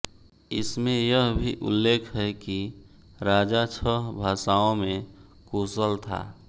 इसमें यह भी उल्लेख है कि राजा छह भाषाओं में कुशल था